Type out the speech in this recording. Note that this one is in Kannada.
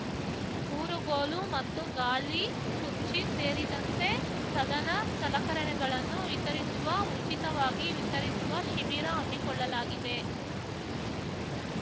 ಊರುಗೋಲು ಮತ್ತು ಗಾಲಿ ಕುರ್ಚಿ ಸೇರಿದಂತೆ ಸಧನ ಸಲಕರಣೆಗಳನ್ನು ವಿತರಿಸುವ ಉಚಿತವಾಗಿ ವಿತರಿಸುವ ಶಿಬಿರ ಹಮ್ಮಿಕೊಳ್ಳಲಾಗಿದೆ